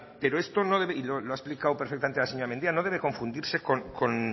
pero esto y lo ha explicado perfectamente la señora mendia no debe confundirse con